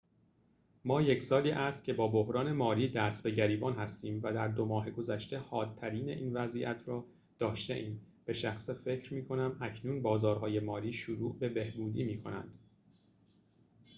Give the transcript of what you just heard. ما یک سالی است که با بحران مالی دست به گریبان هستیم و در دو ماه گذشته حادترین این وضعیت را داشته‌ایم به شخصه فکر می‌کنم اکنون بازارهای مالی شروع به بهبودی می‌کنند